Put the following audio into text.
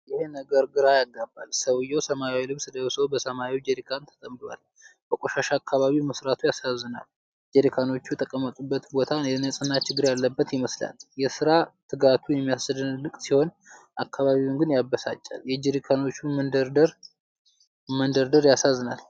ይሄ ነገር ግራ ያጋባል! ሰውዬው ሰማያዊ ልብስ ለብሶ በሰማያዊ ጄሪካኖች ተጠምዷል። በቆሻሻ አካባቢ መሥራቱ ያሳዝናል። ጄሪካኖቹ የተቀመጡበት ቦታ የንጽህና ችግር ያለበት ይመስላል። የሥራ ትጋቱ የሚያስደንቅ ሲሆን አካባቢው ግን ያበሳጫል። የጄሪካኖቹ መደርደር ያሳዝናል።